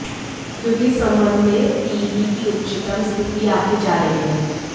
क्योंकि इस संबंध में पीईबी की उच्चतम स्थिति आंकी जा रही है